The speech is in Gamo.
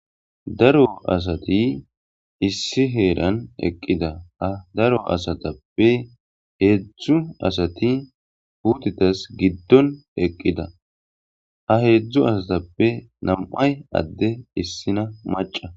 daro asati issi heeran eqqida a daro asatappe heedzdzu asati uutitas giddon eqqida ha heedzdzu asatappe nam7ay adde issina maca